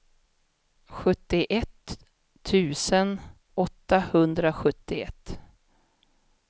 sjuttioett tusen åttahundrasjuttioett